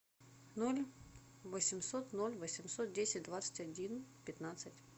ноль восемьсот ноль восемьсот десять двадцать один пятнадцать